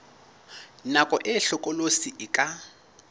nako e hlokolosi e ka